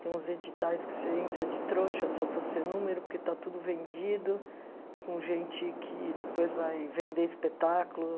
Tem uns editais que você entra de trouxa só para ser número, porque está tudo vendido, com gente que depois vai vender espetáculo.